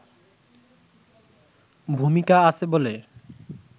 ভূমিকা আছে বলে